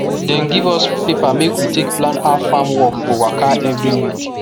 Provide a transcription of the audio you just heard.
dem give us paper make we take plan how farm work go waka every week